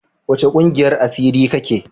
Wace kungiyar asiri ka ke?